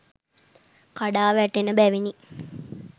කඩා වැටෙන බැවිනි.